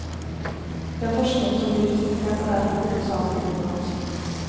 Den forskning som blir presentert er derfor hovedsaklig utenlandsk.